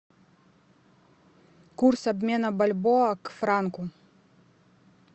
курс обмена бальбоа к франку